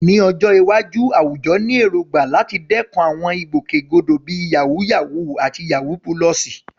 Ní ọjọ́ iwájú, àwùjọ ní èrògbà láti dẹ́kun àwọn ìgbòkègbodò bíi "yàwúyáwù" àti "yawú púlọ̀sì."